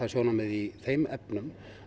sjónarmið í þeim efnum